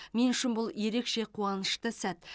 мен үшін бұл ерекше қуанышты сәт